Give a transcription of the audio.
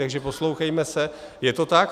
Takže poslouchejme se, je to tak.